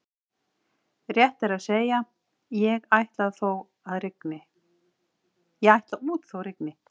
Rétt er að segja: ég ætla út þó að rigni